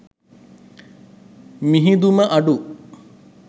මිහිදුම අඩු